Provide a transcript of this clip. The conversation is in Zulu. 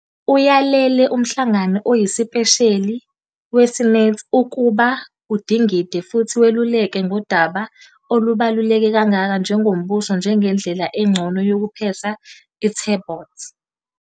Uyalele umhlangano oyisipesheli weSenate ukuba udingide futhi weluleke ngodaba olubaluleke kangaka njengoMbuso njengendlela engcono yokupheka i-turbot."